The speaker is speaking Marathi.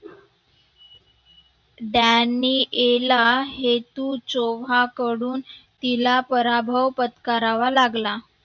daniel hetu choba कडून तिला पराभव पत्करावा लागला.